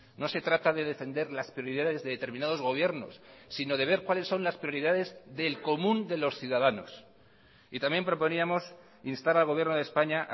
no se trata de defender las prioridades de determinados gobiernos sino de ver cuáles son las prioridades del común de los ciudadanos y también proponíamos instar al gobierno de españa a